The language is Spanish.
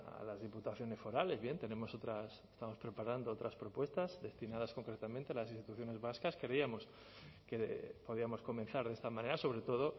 a las diputaciones forales bien tenemos otras estamos preparando otras propuestas destinadas concretamente a las instituciones vascas creíamos que podíamos comenzar de esta manera sobre todo